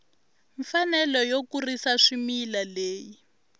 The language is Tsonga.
mfanelo yo kurisa swimila leyi